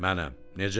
Mənəm.